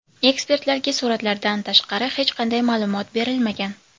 Ekspertlarga suratlardan tashqari hech qanday ma’lumot berilmagan.